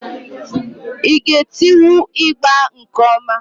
ị ga etiwu ịgbà nke ọma?